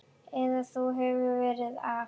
Eða þú hefur verra af